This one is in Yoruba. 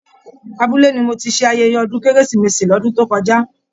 Abúlé ni mo tí ṣe ayẹyẹ ọdún kérésìmesì l'ọdun to kọjá.